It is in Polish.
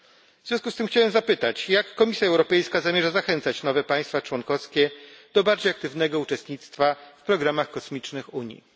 W związku z tym chciałbym zapytać, jak Komisja Europejska zamierza zachęcać nowe państwa członkowskie do bardziej aktywnego uczestnictwa w programach kosmicznych Unii?